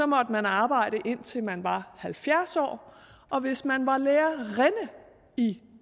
måtte man arbejde indtil man var halvfjerds år og hvis man var lærerinde i